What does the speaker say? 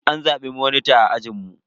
An zabe ni monita a ajinmu.